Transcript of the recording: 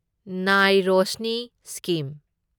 ꯅꯥꯏ ꯔꯣꯁꯅꯤ ꯁ꯭ꯀꯤꯝ